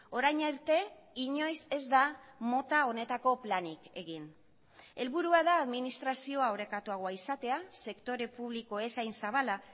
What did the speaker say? orain arte inoiz ez da mota honetako planik egin helburua da administrazioa orekatuagoa izatea sektore publiko ez hain zabala